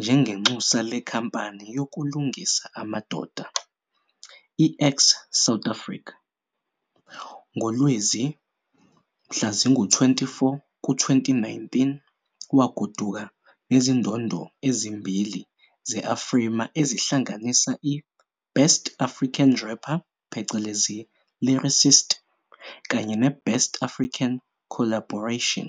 njengenxusa lenkampani yokulungisa amadoda, i- Ax South Africa. NgoLwezi 24, 2019, wagoduka nezindondo ezimbili ze-AFRIMA ezihlanganisa i-Best African Rapper - Lyricist kanye ne-Best African Collaboration.